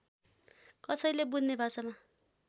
कसैले बुझ्ने भाषामा